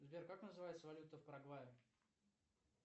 сбер как называется валюта в парагвае